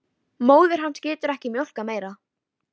Móðir hans getur ekki mjólkað meira.